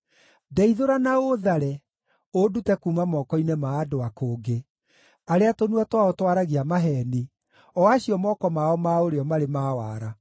Ndeithũra na ũũthare, ũndute kuuma moko-inĩ ma andũ a kũngĩ, arĩa tũnua twao twaragia maheeni, o acio moko mao ma ũrĩo marĩ ma wara.